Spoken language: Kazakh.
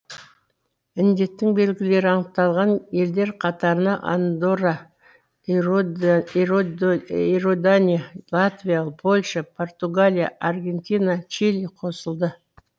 індеттің белгілері анықталған елдер қатарына андорра иордания латвия польша португалия аргентина чили қосылды